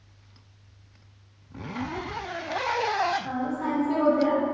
ହଁ science ବି ହଉଥିଲା